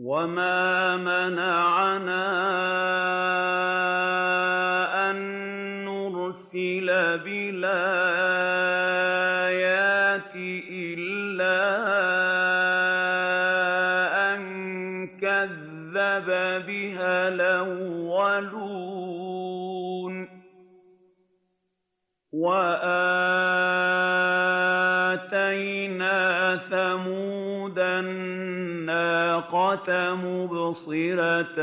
وَمَا مَنَعَنَا أَن نُّرْسِلَ بِالْآيَاتِ إِلَّا أَن كَذَّبَ بِهَا الْأَوَّلُونَ ۚ وَآتَيْنَا ثَمُودَ النَّاقَةَ مُبْصِرَةً